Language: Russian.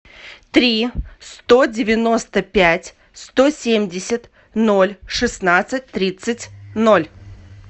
три сто девяносто пять сто семьдесят ноль шестнадцать тридцать ноль